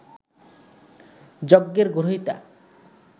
যজ্ঞের গ্রহীতা